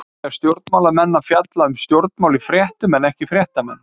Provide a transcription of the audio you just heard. Eiga stjórnmálamenn að fjalla um stjórnmál í fréttum en ekki fréttamenn?